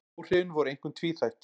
Áhrifin voru einkum tvíþætt